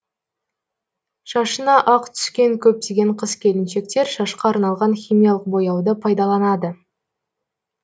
шашына ақ түскен көптеген қыз келіншектер шашқа арналған химиялық бояуды пайдаланады